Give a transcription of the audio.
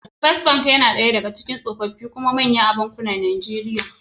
First Bank na ɗaya daga cikin tsofaffi kuma manyan bankuna a Najeriya.